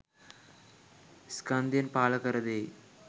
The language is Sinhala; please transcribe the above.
ස්කන්ධයන් පහළ කරදෙයි.